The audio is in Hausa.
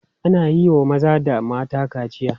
Ana iya wa maza da mata kaciya.